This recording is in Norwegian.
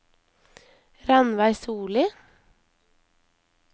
Ranveig Sollie